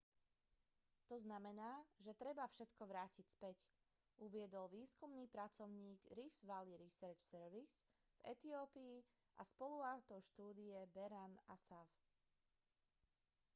to znamená že treba všetko vrátiť späť uviedol výskumný pracovník rift valley research service v etiópii a spoluautor štúdie berhane asfaw